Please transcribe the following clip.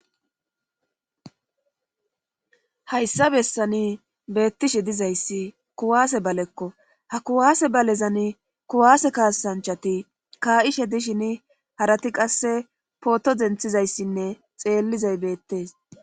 hayssa bessani beettishe dizayssi kuwaase balekko ha kuwaase balezan kuwaase kaasanchati kaa'ishe dishin harati qasse pooto denthizayssinne xeellizay beettees